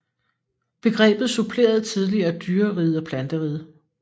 Begrebet supplerede tidligere dyreriget og planteriget